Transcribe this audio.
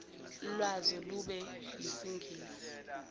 lwazo lube yisingisi